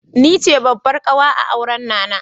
Ni ce babbar ƙawa a auran Nana.